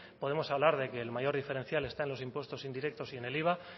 podemos hablar de que el mayor diferencial está en los impuestos indirectos y en el iva